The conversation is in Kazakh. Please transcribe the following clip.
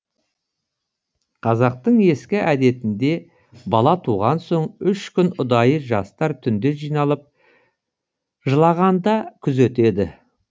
қазақтың ескі әдетінде бала туған соң үш күн ұдайы жастар түнде жиналып жылағанда күзетеді